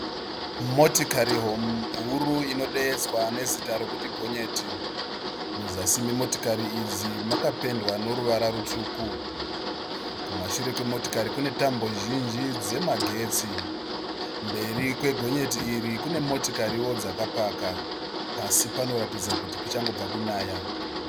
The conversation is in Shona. Motikari huru inodeedzwa nezita rekuti gonyeti, muzasi memotokari idzi makapendwa noruvara rutsvuku. Kumashure kwemotikari kune tambo zhinji dzemagetsi. Mberi kwegonyeti iri kune motikariwo dzakapaka. Pasi panoratidza kuti kuchangobva kunaya.